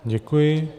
Děkuji.